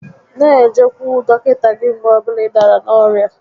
N'ejekwu dọkịta gị mgbe ọ bụla ị dàrà n'orịa